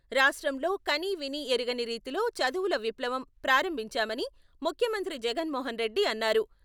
రాష్ట్రంలో కనీవినీ ఎరుగని రీతిలో చదువుల విప్లవం ప్రారంభించామని ముఖ్యమంత్రి జగన్మోహన్ రెడ్డి అన్నారు.